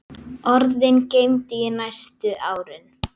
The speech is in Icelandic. Orðin geymdi ég næstu árin.